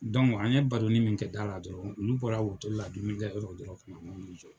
an ye baronin min kɛ da la dɔrɔn, olu bɔra la dumini kɛ yɔrɔ la dɔrɔn u na n' jɔ.